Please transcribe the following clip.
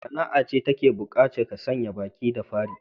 Wace sana'a ce ta bukaci ka sanya baki da fari?